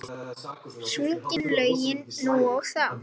Sungin lögin nú og þá.